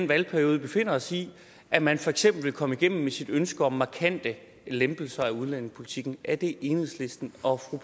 valgperiode vi befinder os i at man for eksempel vil komme igennem med sit ønske om markante lempelser af udlændingepolitikken er det enhedslisten og fru